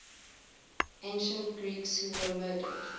ancient greeks who were murdered